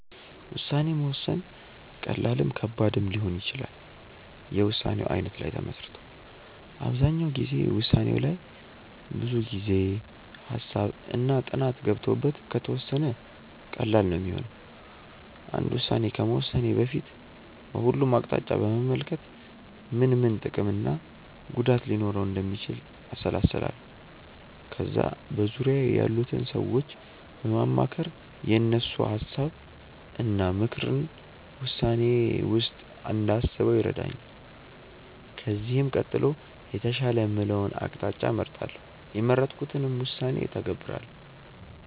ውሳኔ መወሰን ቀላልም ከባድም ሊሆን ይችላል የውሳኔው አይነት ላይ ተመስርቶ። አብዛኛው ጊዜ ውሳኔው ላይ ብዙ ጊዜ፣ ሃሳብ እና ጥናት ገብቶበት ከተወሰነ ቀላል ነው ሚሆነው። አንድ ውስን ከመወሰኔ በፊት በሁሉም አቅጣጫ በመመልከት ምን ምን ጥቅም እና ጉዳት ሊኖረው እንደሚችል አሰላስላለው። ከዛ በዙርያዬ ያሉትን ሰዎች በማማከር የእነሱን ሀሳብ እና ምክርን ውሳኔዬ ውስጥ እንዳስበው ይረዳኛል። ከዚህም ቀጥሎ የተሻለ የምለውን አቅጣጫ እመርጣለው። የመረጥኩትንም ውሳኔ እተገብራለው።